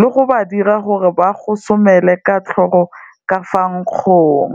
le go ba dira gore ba gosomela ka tlhogo ka fa nkgong.